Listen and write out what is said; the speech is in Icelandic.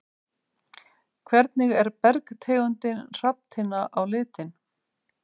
Hvernig er bergtegundin hrafntinna á litinn?